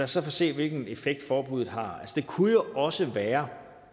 så se hvilken effekt forbuddet har det kunne jo også være